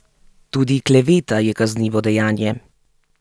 Tudi kleveta je kaznivo dejanje.